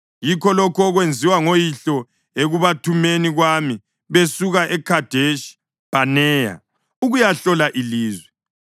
Yikho lokhu okwenziwa ngoyihlo ekubathumeni kwami besuka eKhadeshi Bhaneya ukuyahlola ilizwe.